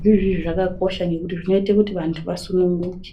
zvirozvoizvi zvakakosha nekuti zvinobaaite kuti anhu asununguke.